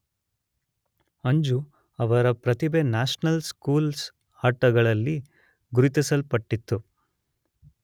ಅಂಜು ಅವರ ಪ್ರತಿಭೆ national schools ಆಟಗಳಲ್ಲಿ ಗುರುತಿಸಲ್ಪಟ್ಟಿತು.